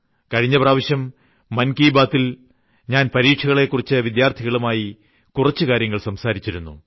കഴിഞ്ഞ പ്രാവശ്യം മൻ കി ബാതിൽ ഞാൻ പരീക്ഷയെക്കുറിച്ച് വിദ്യാർത്ഥികളുമായി കുറച്ച് കാര്യങ്ങൾ സംസാരിച്ചിരുന്നു